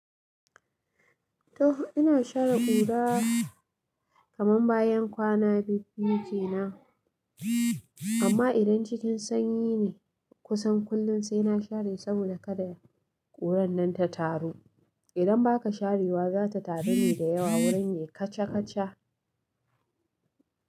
To ina share ƙura kaman bayan kwana biyu-biyu dina amma idan cikin sanyi ne kusan kullum sai na share saboda kada kuran nan ta taru. Idan ba ka share ta za ta taru da yawa wurin ya kacakaca.